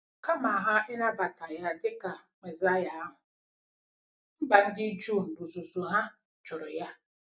Kama ha i nabata ya dị ka Mesaịa ahụ, mba ndị Juu n'ozuzu ha jụrụ ya.